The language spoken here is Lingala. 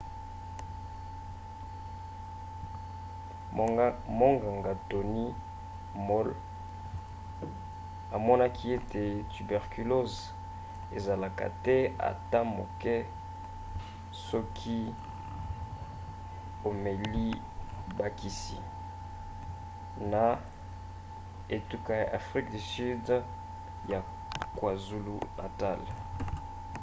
monganga tony moll amonaki ete tuberculose esilaka te ata moke soki omeli bakisi xdr-tb na etuka ya afrika ya sud ya kwazulu-natal